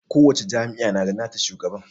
kowacce jami'a na da nata shugaban